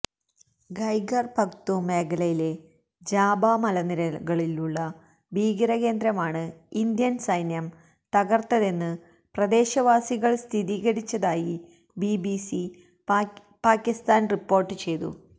ഖൈബര് പഖ്തൂം മേഖലയിലെ ജാബാ മലനിരകളിലുള്ള ഭീകരകേന്ദ്രമാണ് ഇന്ത്യന് സൈന്യം തകര്ത്തതെന്ന് പ്രദേശവാസികള് സ്ഥിരീകരിച്ചതായി ബിബിസി പാകിസ്ഥാന് റിപ്പോര്ട്ട് ചെയ്തു